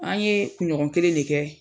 An ye kuɲɔgɔn kelen de kɛ